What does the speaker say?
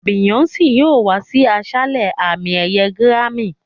Beyoncé yóò wá sí àṣálẹ́ àmì-ẹ̀yẹ gírámì.